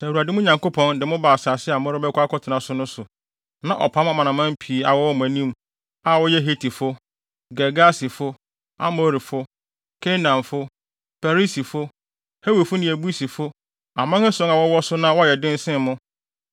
Sɛ Awurade, mo Nyankopɔn, de mo ba asase a morebɛkɔ akɔtena so no so, na ɔpam amanaman pii a wɔwɔ mo anim, a wɔyɛ Hetifo, Girgasifo, Amorifo, Kanaanfo, Perisifo, Hewifo ne Yebusifo, aman ason a wɔwɔ so na wɔyɛ den sen mo,